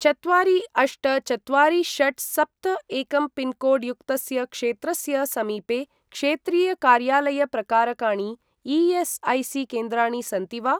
चत्वारि अष्ट चत्वारि षट् सप्त एकं पिन्कोड् युक्तस्य क्षेत्रस्य समीपे क्षेत्रीय कार्यालय प्रकारकाणि ई.एस्.ऐ.सी.केन्द्राणि सन्ति वा?